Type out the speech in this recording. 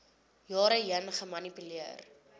jare heen gemanipuleer